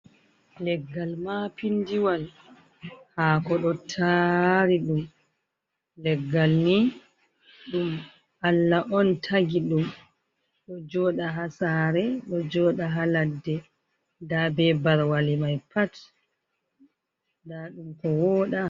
Leggal mapinndiwal haako ɗo taari ɗum .Leggal ni ɗum Allah on tagi ɗum ,ɗo jooɗa haa saare ɗo jooɗa haa ladde .Ndaa be barwale may pat ,ndaa ɗum ko wooɗa.